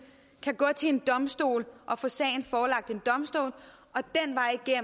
kan gå til en domstol og få sagen forelagt en domstol